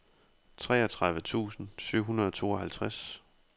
treogtredive tusind syv hundrede og tooghalvtreds